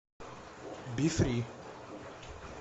бифри